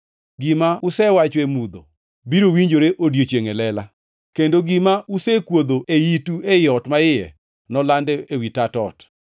Gima usewacho e mudho biro winjore e odiechiengʼ e lela, kendo gima usekwodho e itu ei ot maiye nolandi ewi tat ot.